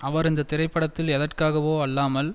அவர் இந்த திரைப்படத்தில் எதற்காகவோ அல்லாமல்